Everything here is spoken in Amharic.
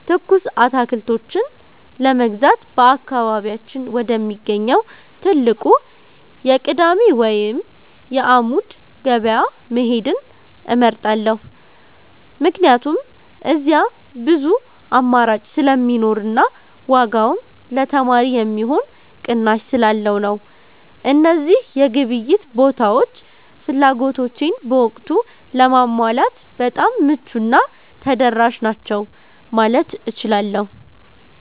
ትኩስ አትክልቶችን ለመግዛት በአካባቢያችን ወደሚገኘው ትልቁ የቅዳሜ ወይም የዓሙድ ገበያ መሄድን እመርጣለሁ፤ ምክንያቱም እዚያ ብዙ አማራጭ ስለሚኖርና ዋጋውም ለተማሪ የሚሆን ቅናሽ ስላለው ነው። እነዚህ የግብይት ቦታዎች ፍላጎቶቼን በወቅቱ ለማሟላት በጣም ምቹና ተደራሽ ናቸው ማለት እችላለሁ።